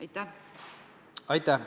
Aitäh!